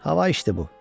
Hava içdi bu.